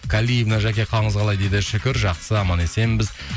калиевна жәке қалыңыз қалай дейді шүкір жақсы аман есенбіз